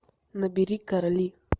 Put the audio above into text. набери короли